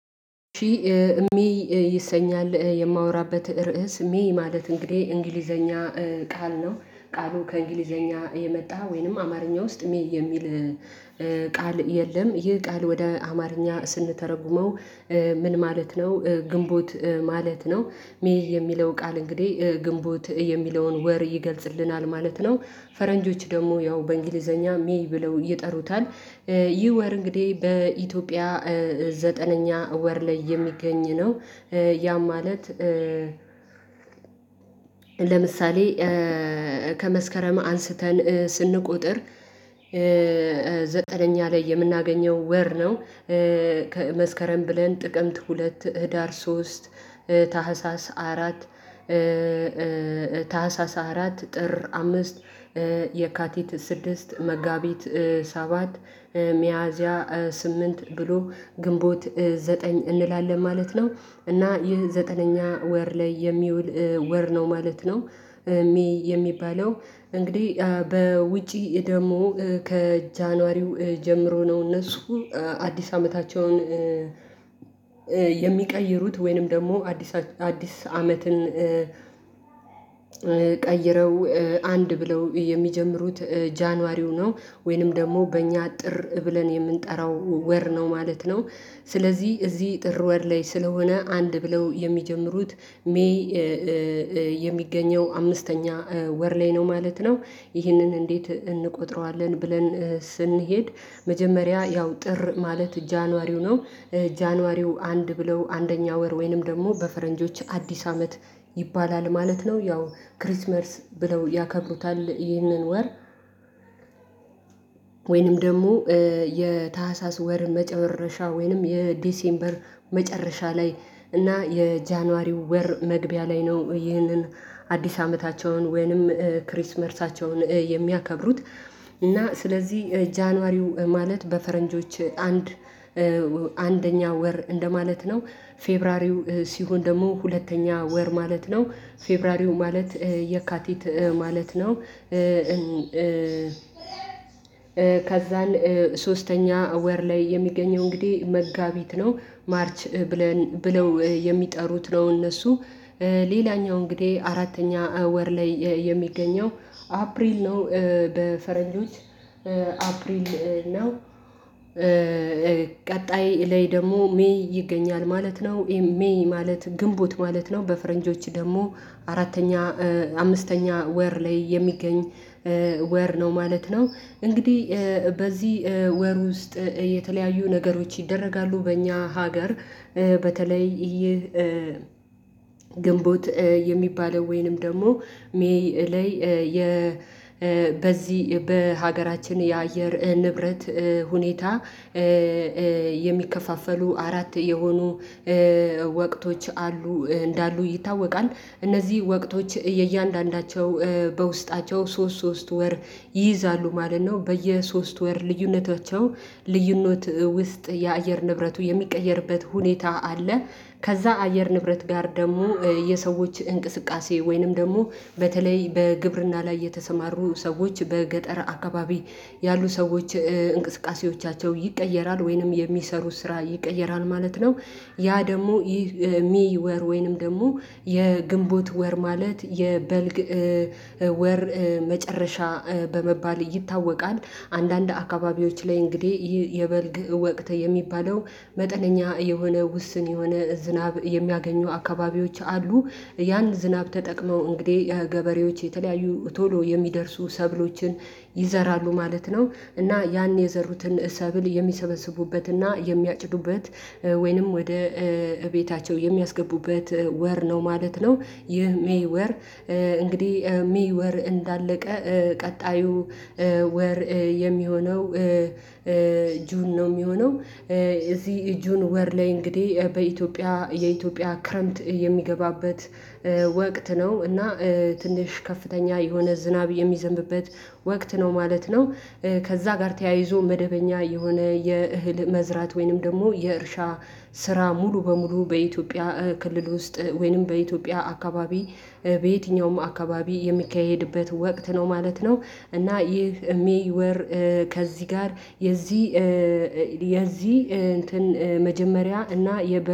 ሺ ሚ ይሰኛል የማወራበት ርዕስ ሚ ማለት እንግዲህ እንግሊዘኛ ቃል ነው ቃሉ ከእንግሊዘኛ የመጣ ወይንም አማርኛ ውስጥ ሚ የሚል ቃል የለም ይህ ቃል ወደ አማርኛ ስንተረጉመው? ምን ማለት ነው ግንቦት ማለት ነው ሜይ የሚለው ቃል እንግዲህ ግንቦት የሚለውን ወር ይገልጽልናል ማለት ነው ፈረንጆች ደግሞ ያው በእንግሊዘኛ ሜይ ብለው ይጠሩታል ይህ ወር እንግዲህ በኢትዮጵያ ዘጠነኛ ወር ላይ የሚገኝ ነው። ያ ማለት ለምሳሌ ከመስከረም አንስተን ስንቆጥር ዘጠነኛ ላይ የምናገኘው ወር ነው። መስከረም ብለን ጥቅምት ሁለት ህዳር ሶስት ታህሳስ አራት ታህሳስ አራት ጥር አምስት የካቲት ስድስት መጋቢት ሰባት ሚያዝያ ስምንት ብሎ ግንቦት ዘጠኝ እንላለን ማለት ነው እና ይህ ዘጠነኛ ወር ላይ የሚውል ወር ነው ማለት ነው። የሚባለው እንግዲህ በውጪ ደግሞ ከጃንዋሪው ጀምሮ ነው እነሱ አዲስ አመታቸውን የሚቀይሩት ወይንም ደግሞ አዲስ አዲስ አመትን ቀይረው አንድ ብለው የሚጀምሩት ጃንዋሪው ነው። ወይንም ደግሞ በእኛ ጥር ብለን የምንጠራው ወር ነው ማለት ነው። ስለዚህ እዚህ ጥር ወር ላይ ስለሆነ አንድ ብለው የሚጀምሩት ሜይ የሚገኘው አምስተኛ ወር ላይ ነው ማለት ነው። ይህንን እንዴት እንቆጥረዋለን ብለን ስንሄድ መጀመሪያ ያው ጥር ማለት ጃንዋሪው ነው። ጃንዋሪው አንድ ብለው አንደኛ ወር ወይንም ደግሞ በፈረንጆች አዲስ አመት ይባላል ማለት ነው። ያው ክሪስማስ ብለው ያከብሩታል ይህንን ወር ወይንም ደግሞ የታህሳስ ወር መጨረሻ ወይንም የዲሴምበር መጨረሻ ላይ እና የጃንዋሪው ወር መግቢያ ላይ ነው ይህንን። አዲስ አመታቸውን ወይንም ክሪስማሳቸውን የሚያከብሩት እና ስለዚህ ጃንዋሪው ማለት በፈረንጆች አንድ አንደኛ ወር እንደማለት ነው። ፌብራሪው ሲሆን ደግሞ ሁለተኛ ወር ማለት ነው ፌብሩዋሪው ማለት የካቲት ማለት ነው። ከዛን ሶስተኛ ወር ላይ የሚገኘው እንግዲህ መጋቢት ነው። ማርች ብለው የሚጠሩት ነው እነሱ ሌላኛው እንግዲህ አራተኛ ወር ላይ የሚገኘው አፕሪል ነው። በፈረንጆች አፕሪል ነው። ቀጣይ ላይ ደግሞ ሜይ ይገኛል ማለት ነው። ሜይ ማለት ግንቦት ማለት ነው በፈረንጆች ደግሞ አራተኛ አምስተኛ ወር ላይ የሚገኝ ወር ነው ማለት ነው። እንግዲህ በዚህ ወር ውስጥ የተለያዩ ነገሮች ይደረጋሉ በእኛ ሀገር በተለይ ይህ ግንቦት የሚባለው ወይንም ደግሞ ሜይ ላይ የ በዚህ በሀገራችን የአየር ንብረት ሁኔታ የሚከፋፈሉ አራት የሆኑ ወቅቶች አሉ እንዳሉ ይታወቃል። እነዚህ ወቅቶች የእያንዳንዳቸው በውስጣቸው ሶስት ሶስት ወር ይይዛሉ ማለት ነው በየሶስት ወር ልዩነታቸው ልዩነት ውስጥ የአየር ንብረቱ የሚቀየርበት ሁኔታ አለ። ከዛ አየር ንብረት ጋር ደግሞ የሰዎች እንቅስቃሴ ወይንም ደግሞ በተለይ በግብርና ላይ የተሰማሩ ሰዎች በገጠር አካባቢ ያሉ ሰዎች እንቅስቃሴዎቻቸው ይቀየራል ወይንም የሚሰሩት ስራ ይቀየራል ማለት ነው። ያ ደግሞ ይሄ ሜይ ወር ወይንም ደግሞ የግንቦት ወር ማለት የበልግ ወር መጨረሻ በመባል ይታወቃል። አንዳንድ አካባቢዎች ላይ እንግዲህ ይህ የበልግ ወቅት የሚባለው መጠነኛ የሆነ ውስን የሆነ ዝናብ የሚያገኙ አካባቢዎች አሉ። ያን ዝናብ ተጠቅመው እንግዲህ የገበሬዎች የተለያዩ ቶሎ የሚደርሱ ሰብሎችን ይዘራሉ ማለት ነው። እና ያን የዘሩትን ሰብል የሚሰበስቡበትና የሚያጭዱበት ወይንም ወደ እቤታቸው የሚያስገቡበት ወር ነው ማለት ነው። ይህ ሜይ ወር እንግዲህ ሜይ ወር እንዳለቀ ቀጣዩ ወር የሚሆነው ጁን ነው የሚሆነው። እዚህ ጁን ወር ላይ እንግዲህ በኢትዮጵያ የኢትዮጵያ ክረምት የሚገባበት ወቅት ነው እና ትንሽ ከፍተኛ የሆነ ዝናብ የሚዘንብበት ወቅት ነው ማለት ነው። ከዛ ጋር ተያይዞ መደበኛ የሆነ የእህል መዝራት ወይንም ደግሞ የእርሻ ስራ ሙሉ በሙሉ በኢትዮጵያ ክልል ውስጥ ወይንም በኢትዮጵያ አካባቢ በየትኛውም አካባቢ የሚካሄድበት ወቅት ነው ማለት ነው። እና ይህ ሜይ ወር ከዚህ ጋር የዚህ የዚህ እንትን መጀመሪያ እና የ